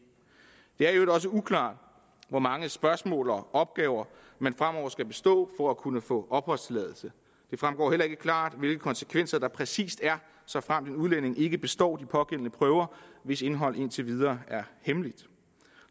er i øvrigt også uklart hvor mange spørgsmål og opgaver man fremover skal bestå for at kunne få opholdstilladelse det fremgår heller ikke klart hvilke konsekvenser der præcist er såfremt en udlænding ikke består de pågældende prøver hvis indhold indtil videre er hemmeligt